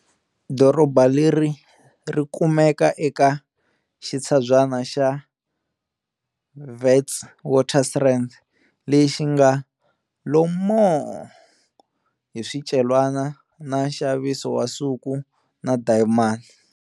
Doroba leri ri kumeka eka xitshabyana xa Witwatersrand lexi ngalo moo! hi swicelwa na nxaviso wa nsuku na dayimani.